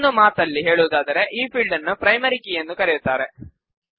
ಇನ್ನೊಂದು ಮಾತಲ್ಲಿ ಹೇಳುವುದಾದರೆ ಈ ಫೀಲ್ಡ್ ನ್ನು ಪ್ರೈಮರಿ ಕೀ ಎಂದೂ ಕರೆಯುತ್ತಾರೆ